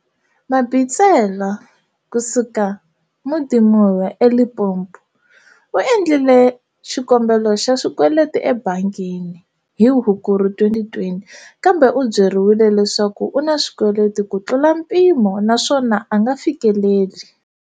Mabitsela, kusuka Modimolle eLimpopo, u endlile xikombelo xa xikweleti ebangini hi Hukuri 2020, kambe u byeriwile leswaku u na swikweleti kutlula mpimo naswona a nga fikeleli.